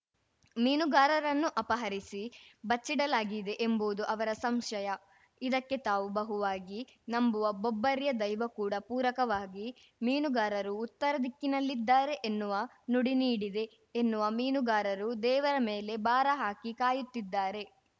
ಮೀನುಗಾರರನ್ನು ಅಪಹರಿಸಿ ಬಚ್ಚಿಡಲಾಗಿದೆ ಎಂಬುವುದು ಅವರ ಸಂಶಯ ಇದಕ್ಕೆ ತಾವು ಬಹುವಾಗಿ ನಂಬುವ ಬೊಬ್ಬರ್ಯ ದೈವ ಕೂಡ ಪೂರಕವಾಗಿ ಮೀನುಗಾರರು ಉತ್ತರ ದಿಕ್ಕಿನಲ್ಲಿದ್ದಾರೆ ಎನ್ನುವ ನುಡಿ ನೀಡಿದೆ ಎನ್ನುವ ಮೀನುಗಾರರು ದೇವರ ಮೇಲೆ ಭಾರ ಹಾಕಿ ಕಾಯುತ್ತಿದ್ದಾರೆ